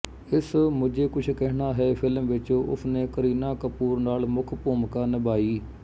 ਇਸ ਮੁਝੇ ਕੁਛ ਕਹਿਣਾ ਹੈ ਫ਼ਿਲਮ ਵਿੱਚ ਉਸਨੇ ਕਰੀਨਾ ਕਪੂਰ ਨਾਲ ਮੁੱਖ ਭੂਮਿਕਾ ਨਿਭਾਈ